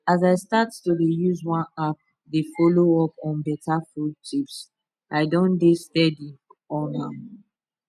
as i start to dey use one app dey follow up on better food tips i don dey steady on am